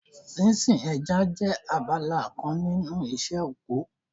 Sínsin ẹja jẹ́ abala kan nínú iṣẹ́ oko